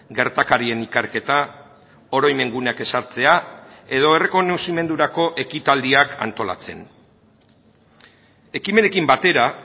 gertakarien ikerketa oroimen guneak ezartzea edo errekonozimendurako ekitaldiak antolatzen ekimenekin batera